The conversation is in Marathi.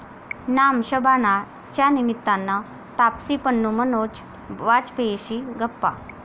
नाम शबाना'च्या निमित्तानं तापसी पन्नू, मनोज वाजपेयीशी गप्पा